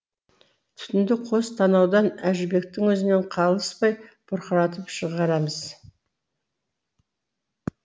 түтінді қос танаудан әжібектің өзінен қалыспай бұрқыратып шығарамыз